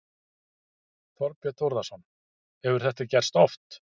Þorbjörn Þórðarson: Hefur þetta gerst oft?